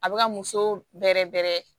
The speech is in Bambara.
A bɛ ka muso bɛrɛ bɛrɛ